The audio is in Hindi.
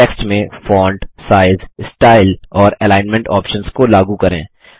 टेक्स्ट में फोंट साइज स्टाइल और एलिग्नमेंट ऑप्शन्स को लागू करें